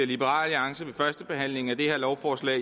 liberal alliance ved førstebehandlingen af det her lovforslag